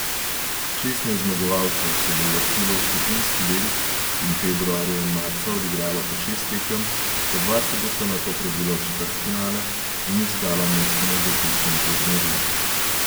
Šestnajst zmagovalcev se bo uvrstilo v skupinski del in februarja in marca odigralo po šest tekem, po dva se bosta nato prebila v četrtfinale in iskala mesto na zaključnem turnirju.